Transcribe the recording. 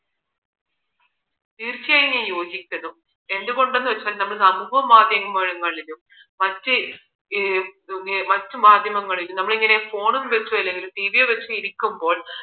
തീർച്ചയായും ഞാൻ യോജിക്കുന്നു എന്ത് കൊണ്ട് എന്ന വച്ചാൽ നമ്മൾ സമൂഹ്യമാധ്യമങ്ങളിലും മറ്റ് മറ്റു മാധ്യമങ്ങളിലും നമ്മൾ ഇപ്പോ phone വച്ച് അല്ലെങ്കിൽ ടിവിയും വച്ച് ഇരിക്കുമ്പോൾ